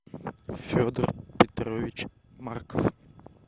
федор петрович марков